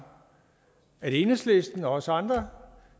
enhedslisten og også andre